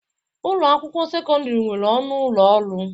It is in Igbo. Ụlọ akwụkwọ sekọndrị nwere ọnụ ụlọ ọrụ.